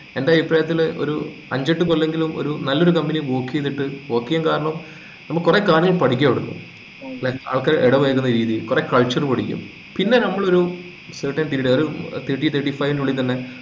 എന്റെ അഭിപ്രായത്തില് ഒരു അഞ്ചു എട്ട് കൊല്ലമെങ്കിലും ഒരു നല്ലൊരു company യിൽ work ചെയ്തിട്ട് work ചെയ്യാൻ കാരണം നമ്മൾ കൊറേ കാര്യങ്ങൾ പഠിക്കു അവിടന്ന് അതൊക്കെ ഇടപഴകുന്ന രീതി കൊറേ culture പഠിക്കും പിന്നെ നമ്മൾ ഒരു ഏർ certain period ഏർ ഒരു thirty thirty five ന്റെ ഉള്ളിൽ തന്നെ